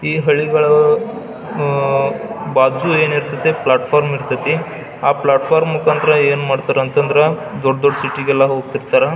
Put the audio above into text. ಈ ಹಳ್ಳಿಗಳೂ ಅಅ ಬಾಜು ಏನ್ ಇರ್ತತಿ ಪ್ಲಾಟ್ಫಾರ್ಮ್ ಇರತೈತಿ ಆ ಪ್ಲಾಟ್ಫಾರ್ಮ್ ಮುಕಾಂತರ ಏನ್ ಮಾಡ್ತಾರಾ ಅಂತಂದ್ರ ದೊಡ್ಡ್ ದೊಡ್ಡ್ ಸಿಟಿಗೆಲ್ಲ ಹೋಗ್ತಿರ್ತಾರಾ .